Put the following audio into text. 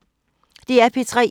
DR P3